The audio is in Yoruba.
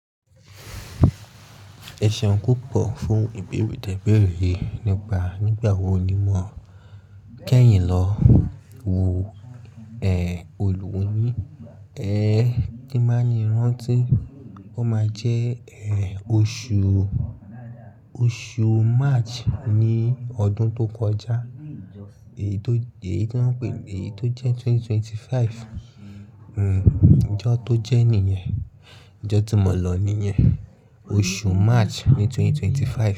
Ẹṣeun púpọ̀ fún ìbéèrè ti ee bẹ́rẹ́ nípa nígbà wo ni mọ kẹ́yìn lọ wo è olùwunni, ẹ kí máa ní rántí oó máa jẹ́ è oṣù, oṣù March ní ọdún tó kọjá, èyí tó, èyí tí wọ́n ń pè èyí tó jẹ́ ẹgbẹ̀rún méjì ó lé ẹ́ẹ́dọ́gbọ̀n, hmmm ìjọ tó jẹ́ nìyẹn, ìjọ tí mọ̀ọ́ lò ni yẹn. Oṣù March ní ẹgbẹ̀rún méjì ó lé ẹ́ẹ́dọ́gbọ̀n.